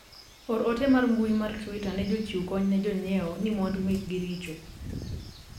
or ote mar mbui mar twita ne jochiw kony ne jonyiewo ni mwandu mekgi richo